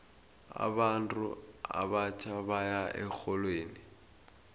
abantu abatjha baya erholweni